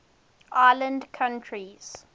island countries